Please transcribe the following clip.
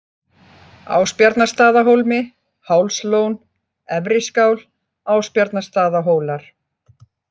Ásbjarnarstaðahólmi, Hálslón, Efri-Skál, Ásbjarnarstaðahólar